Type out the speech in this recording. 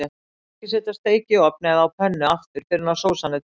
Ekki setja steik í ofn eða á pönnu aftur fyrr en sósan er tilbúin.